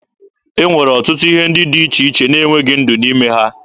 E nwere ọtụtụ ihe dị iche iche na-enweghị ndụ n'ime ha.